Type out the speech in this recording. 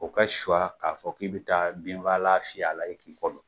O ka suwa k'a fɔ k'i bɛ taa binfagalan fiyɛ a la k'i kɔ don.